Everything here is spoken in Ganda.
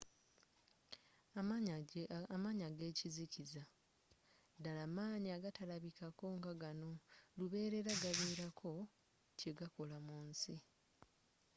amaanyi agekizikiza ddala maanyi agatalabika ngagano lubeerera gabeerako kyegakola mu nsi